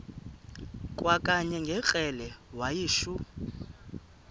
kwakanye ngekrele wayishu